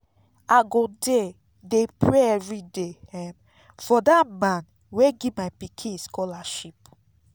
i go dey dey pray everyday um for dat man wey give my pikin scholarship